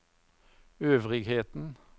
øvrigheten